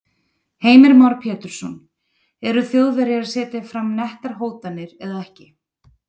Heimir Már Pétursson: Eru Þjóðverjar að setja fram nettar hótanir eða ekki?